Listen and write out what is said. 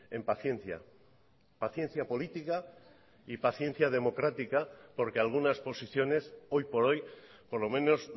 en paciencia paciencia política y paciencia democrática porque algunas posiciones hoy por hoy por lo menos